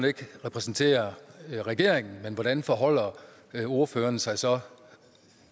ikke repræsenterer regeringen men hvordan forholder ordføreren sig så